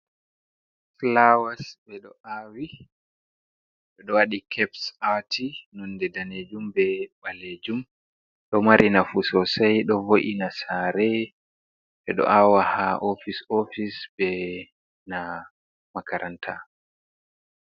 Fulawas ɓe ɗo aawi, ɓe ɗo waɗi keps aati, nunde daneejum be ɓaleejum, ɗo mari nafu soosay, ɗo vo’ina saare. Ɓe ɗo aawa haa ofis ofis, be na makaranta.